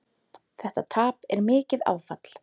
Þetta tap er mikið áfall.